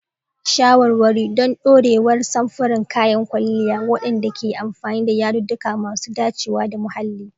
Shawarwari don ɗorewar samfuran kayan kwalliya waɗanda ke amfani da yadudduka masu dacewa da muhalli.